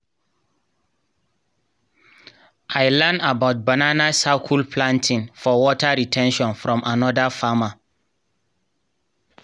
i learn about banana circle planting for water re ten tion from another farmer.